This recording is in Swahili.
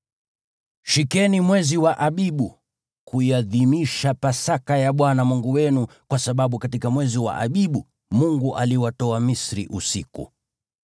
Shikeni mwezi wa Abibu, na kuiadhimisha Pasaka ya Bwana Mungu wenu, kwa sababu katika mwezi wa Abibu, Mungu aliwatoa Misri usiku.